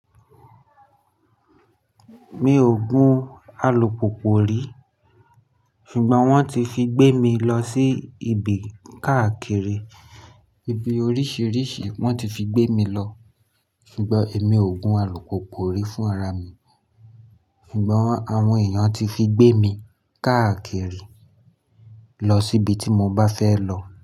Mi ò gun alùpùpù rí, ṣùgbọ́n wọ́n ti fi gbé mi lọ sí ibi káàkiri. Ibi oríṣìíríṣìí wọ́n ti fi gbé mi lọ, ṣùgbọ́n èmi ò gun alùpùpù rí fún ara mi. Ṣùgbọ́n àwọn èèyàn ti fi gbé mi kákakiri lọ síbi tí mo bá fẹ́ lọ.